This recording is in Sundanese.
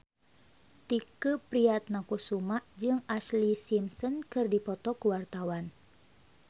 Tike Priatnakusuma jeung Ashlee Simpson keur dipoto ku wartawan